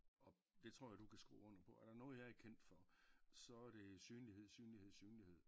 Og det tror jeg du kan skrive under på. Er der noget jeg er kendt for så er det synlighed synlighed synlighed